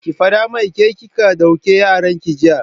Ki faɗa mai ke ce kika duke yaran ki jiya!